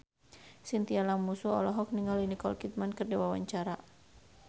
Chintya Lamusu olohok ningali Nicole Kidman keur diwawancara